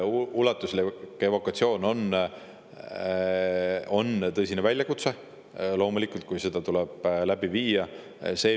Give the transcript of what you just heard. Ulatuslik evakuatsioon on loomulikult tõsine väljakutse, kui see tuleb läbi viia.